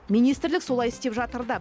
министрлік солай істеп жатыр да